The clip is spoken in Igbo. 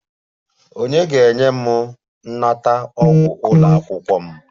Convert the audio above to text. Ònye ga-enye m nnata ụgwọ ụlọ akwụkwọ m?